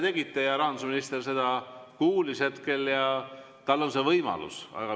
Selle te tegite, rahandusminister kuulis seda ja tal on see võimalus.